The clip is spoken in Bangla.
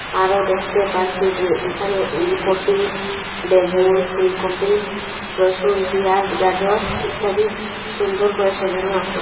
আরও দ্যাখতে পারসি যে এখানে উলকপি বেগুন ফুলকপি রসুন পিঁয়াস গাজর ইত্যাদি সুন্দর করে সাজানো আসে।